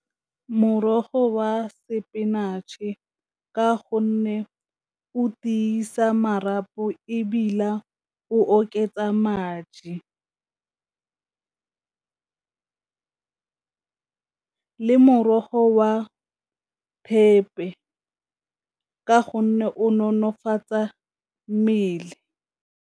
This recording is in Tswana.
Morogo wa spinach-e ka gonne o tiisa marapo ebile o oketsa madi, morogo wa thepe ka gonne o nonofatsa mmele.